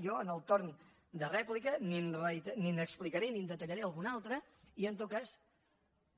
jo en el torn de rèplica n’hi explicaré n’hi detallaré alguna altra i en tot cas